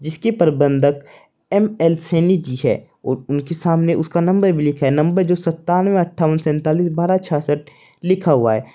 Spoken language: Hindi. इसके प्रबंधक एम एल सैनी जी है और उनके सामने उसका नंबर भी लिखा है नंबर जो सत्तानवे अठावन सेंतालिस बारह छियासठ लिखा हुआ है।